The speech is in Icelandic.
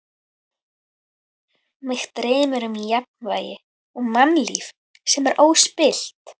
Mig dreymir um jafnvægi og mannlíf sem er óspillt.